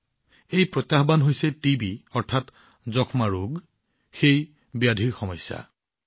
এইটোৱেই প্ৰত্যাহ্বান টিবি যাক যক্ষ্মা ৰোগ বুলিও কোৱা হয়